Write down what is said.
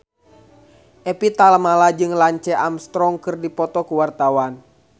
Evie Tamala jeung Lance Armstrong keur dipoto ku wartawan